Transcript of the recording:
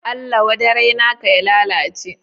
Allah wadarai naka ya lalace